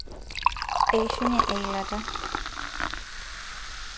eishunye eilata